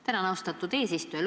Tänan, austatud eesistuja!